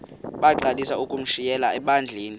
bagqalisele ukushumayela ebandleni